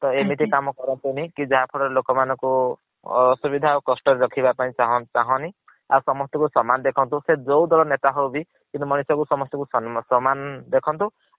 ଏମିତି କାମ କରନୀ ଯାହା ଫଳ ରେ ଲୋକ ମାନ ଙ୍କୁ ଅସୁବିଧା ଆଉ କସ୍ତ ରେ ରଖିବା ପାଇଁ ଛାଂହନୀ। ଆଉ ସମସ୍ତଙ୍କୁ ସମାନ ଦେଖାନ୍ତୁ ସେ ଯୋଉ ଦଳ ର ନେତା ହଉ ବି କିନ୍ତୁ ମନିଷ କୁ ସମସ୍ତଙ୍କୁ ସମାନ ଦେଖନ୍ତୁ।